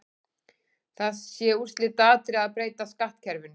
Það sé úrslitaatriði að breyta skattkerfinu.